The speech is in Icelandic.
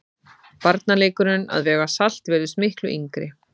Barnaleikurinn að vega salt virðist miklu yngri.